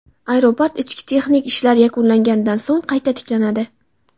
Aeroport ishi texnik ishlar yakunlanganidan so‘ng qayta tiklanadi.